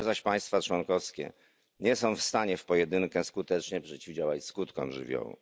Same zaś państwa członkowskie nie są w stanie w pojedynkę skutecznie przeciwdziałać skutkom żywiołów.